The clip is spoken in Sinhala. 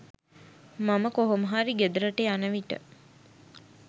මම කොහොමහරි ගෙදරට යන විට